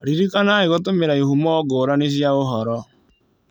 Ririkanai gũtũmĩra ihumo ngũrani cia ũhoro.